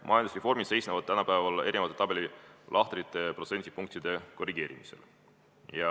Majandusreformid seisnevad tabelilahtrite ja protsendipunktide korrigeerimises.